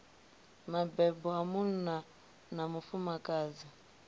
mabebo a munna na mufumakadzi